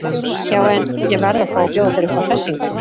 Já en. ég verð að fá að bjóða þér upp á hressingu!